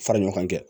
Fara ɲɔgɔn kɛ